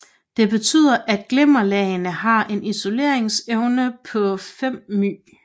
Det betyder at glimmerlagene har en isoleringsevne på 5 λ